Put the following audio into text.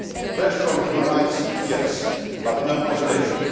Pressure on human rights, yes, but no isolation!